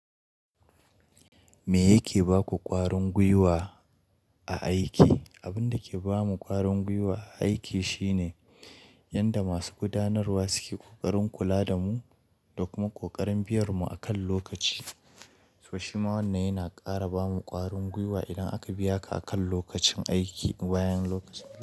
Me yake baku ƙwarin guiwa a aiki? Abin da ke bamu ƙwarin guiwa a aiki shine yanda masu gudanarwa suke kokarin kula da mu da kuma kokarin biyar mu akan lokaci. To shi ma wannan yana ƙara bamu ƙwarin guiwa idan aka biya ka akan lokacin aiki, wayen lokaci.